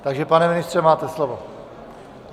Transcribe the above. Takže pane ministře, máte slovo.